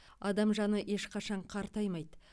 адам жаны ешқашан қартаймайды